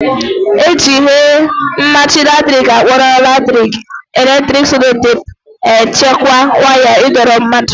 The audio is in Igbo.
Eji ihe mmachi latrik akpọrọ electric sellotape echekwa waya ịdọrọ mmadụ